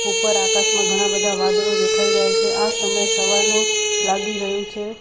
ઉપર આકાશમાં ઘણા બધા વાદળો દેખાઈ રહ્યા છે આ સમય સવારનો લાગી રહ્યું છે.